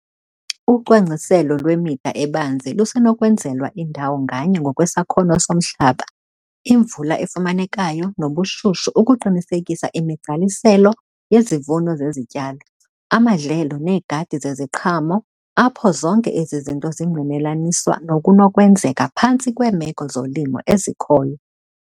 Ucwangciselo lwemida ebanzi lusenokwenzelwa indawo nganye ngokwesakhono somhlaba, imvula efumanekayo nobushushu ukuqinisekisa imigqaliselo yezivuno zezityalo, amadlelo neegadi zeziqhamo apho zonke ezi zinto zingqinelaniswa nokunokwenzeka phantsi kweemeko zolimo ezikhoyo.